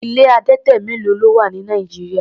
Ilé adẹtẹ mélo ni ó wà ní Nigeria?